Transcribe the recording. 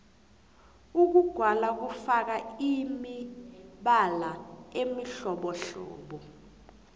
ukugwala kufaka imibala emihlobohlobo